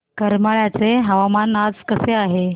करमाळ्याचे हवामान आज कसे आहे